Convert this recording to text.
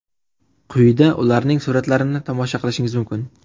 Quyida ularning suratlarini tomosha qilishingiz mumkin.